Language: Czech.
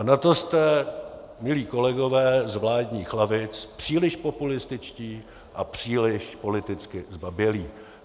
A na to jste milí kolegové z vládních lavic příliš populističtí a příliš politicky zbabělí.